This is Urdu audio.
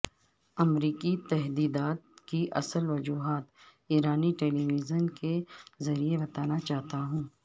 امریکی تحدیدات کی اصل وجوہات ایرانی ٹیلیویژن کے ذریعہ بتانا چاہتا ہوں